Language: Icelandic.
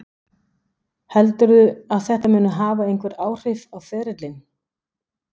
Heldurðu að þetta muni hafa einhver áhrif á ferilinn?